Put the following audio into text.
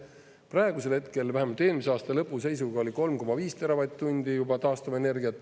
Praegusel hetkel vähemalt eelmise aasta lõpu seisuga oli 3,5 teravatt-tundi juba taastuvenergiat.